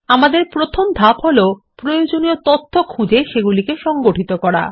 আমাদের প্রথম ধাপ হলো প্রয়োজনীয় তথ্য খুঁজে সংগঠিত করা